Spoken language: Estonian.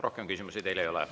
Rohkem küsimusi teile ei ole.